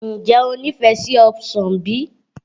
Ǹjẹ́ o ní ìfẹ́ sí ọsàn bí?